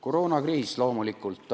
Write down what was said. Koroonakriis, loomulikult.